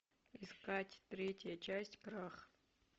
искать третья часть крах